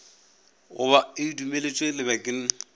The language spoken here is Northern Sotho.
go ba e dumeletšwe lebakeng